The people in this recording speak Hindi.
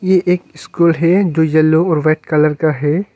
ये एक स्कूल है जो येलो और व्हाइट कलर का है।